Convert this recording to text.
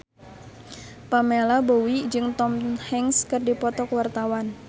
Pamela Bowie jeung Tom Hanks keur dipoto ku wartawan